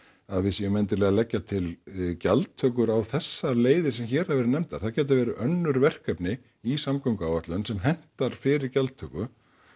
að við séum endilega að leggja til gjaldtökur á þessar leiðir sem hér hafa verið nefndar það gætu verið önnur verkefni í samgönguáætlun sem hentar fyrir gjaldtöku